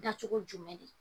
Dacogo jumɛn de ?